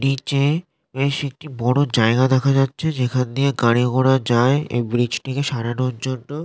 নীচে বেশ একটি বড়ো জায়গা দেখা যাচ্ছে যেখান দিয়ে গাড়ি ঘোড়া যায় এই ব্রীজ -টিকে সারানোর জন্য।